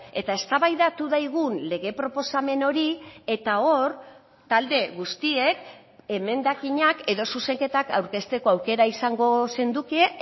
eta eztabaidatu daigun lege proposamen hori eta hor talde guztiek emendakinak edo zuzenketak aurkezteko aukera izango zenduke